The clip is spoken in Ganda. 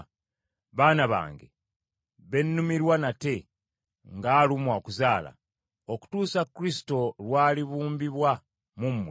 Baana bange be nnumirwa nate ng’alumwa okuzaala, okutuusa Kristo lw’alibumbibwa mu mmwe,